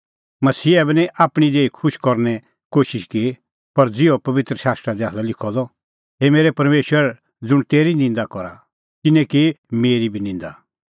मसीहा बी निं आपणीं देही खुश करने कोशिश की पर ज़िहअ पबित्र शास्त्रा दी आसा लिखअ द हे परमेशर ज़ुंण तेरी निंदा करा तिन्नैं की मेरी बी निंदा